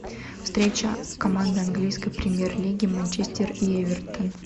встреча команд английской премьер лиги манчестер и эвертон